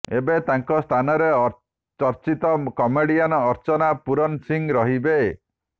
ଏବେ ତାଙ୍କ ସ୍ଥାନରେ ଚର୍ଚ୍ଚିତ କମେଡିଆନ ଅର୍ଚ୍ଚନା ପୂରନ ସିଂହ ରହିବେ